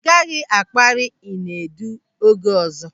Ị gaghị akpari Inedu oge ọzọ.